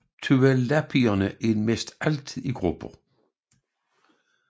Tualapierne er næsten altid i grupper